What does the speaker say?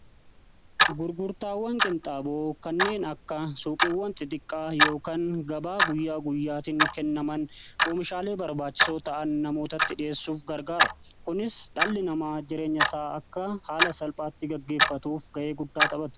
Gurgurtaawwan qinxaaboo kanneen akka suuqiiwwan xixiqqaa yookaan gabaa guyyaa guyyaatiin kennaman oomishaalee barbaachisoo ta'an namootatti dhi'eessuuf gargaara. Kunis dhalli namaa jireenya isaa akka haala salphaatti gaggeeffatuuf ga'ee guddaa taphata.